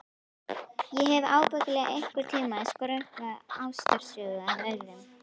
Ég hef ábyggilega einhvern tíma skrökvað ástarsögu að öðrum.